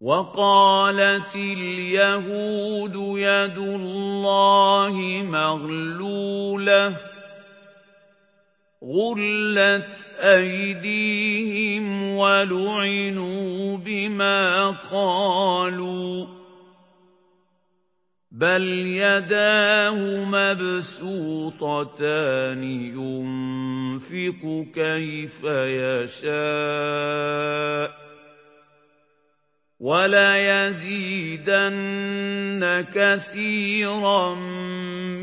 وَقَالَتِ الْيَهُودُ يَدُ اللَّهِ مَغْلُولَةٌ ۚ غُلَّتْ أَيْدِيهِمْ وَلُعِنُوا بِمَا قَالُوا ۘ بَلْ يَدَاهُ مَبْسُوطَتَانِ يُنفِقُ كَيْفَ يَشَاءُ ۚ وَلَيَزِيدَنَّ كَثِيرًا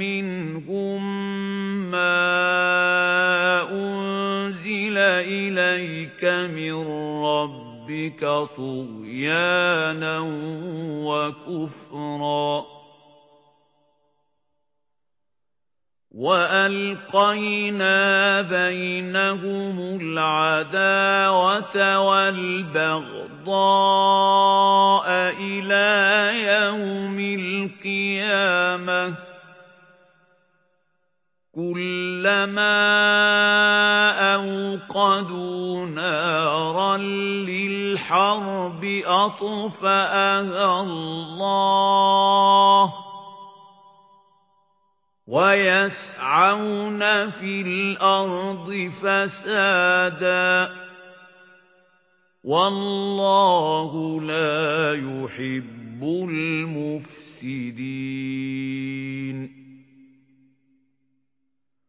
مِّنْهُم مَّا أُنزِلَ إِلَيْكَ مِن رَّبِّكَ طُغْيَانًا وَكُفْرًا ۚ وَأَلْقَيْنَا بَيْنَهُمُ الْعَدَاوَةَ وَالْبَغْضَاءَ إِلَىٰ يَوْمِ الْقِيَامَةِ ۚ كُلَّمَا أَوْقَدُوا نَارًا لِّلْحَرْبِ أَطْفَأَهَا اللَّهُ ۚ وَيَسْعَوْنَ فِي الْأَرْضِ فَسَادًا ۚ وَاللَّهُ لَا يُحِبُّ الْمُفْسِدِينَ